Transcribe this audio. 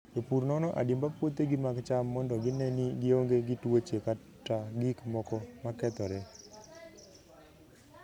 Jopur nono adimba puothegi mag cham mondo gine ni gionge gi tuoche kata gik moko ma kethore.